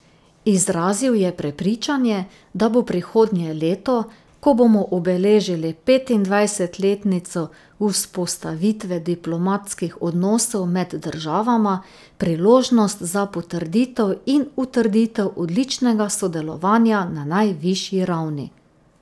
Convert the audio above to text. Izrazil je prepričanje, da bo prihodnje leto, ko bomo obeležili petindvajsetletnico vzpostavitve diplomatskih odnosov med državama, priložnost za potrditev in utrditev odličnega sodelovanja na najvišji ravni.